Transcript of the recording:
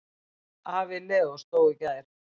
Afi Leós dó í gær.